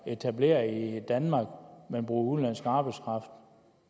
etableret i danmark men bruger udenlandsk arbejdskraft